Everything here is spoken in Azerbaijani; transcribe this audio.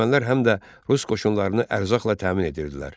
Ermənilər həm də rus qoşunlarını ərzaqla təmin edirdilər.